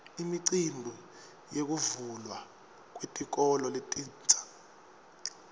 imicimbi yekuvulwa kwetikolo letintsa